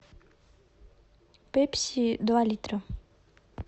пепси два литра